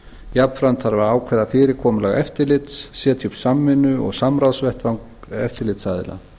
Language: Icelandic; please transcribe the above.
jafnframt þarf að ákveða fyrirkomulag eftirlits setja upp samvinnu og samráðsvettvang eftirlitsaðila